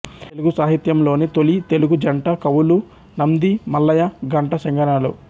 తెలుగు సాహిత్యంలోని తొలి తెలుగు జంట కవులు నంది మల్లయ ఘంట సింగనలు